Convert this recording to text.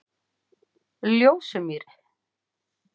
Ljósumýri